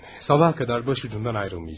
Sabaha qədər başucundan ayrılmayacağam.